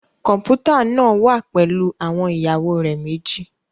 Kọmputa naa wa pẹlu awọn iyawo rẹ meji